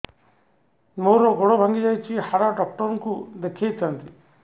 ମୋର ଗୋଡ ଭାଙ୍ଗି ଯାଇଛି ହାଡ ଡକ୍ଟର ଙ୍କୁ ଦେଖେଇ ଥାନ୍ତି